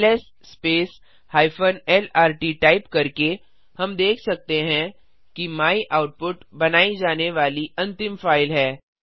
LS -lrt type करके हम देख सकते हैं कि मायआउटपुट बनाई जाने वाली अंतिम फाइल है